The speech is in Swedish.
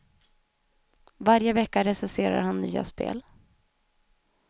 Varje vecka recenserar han nya spel.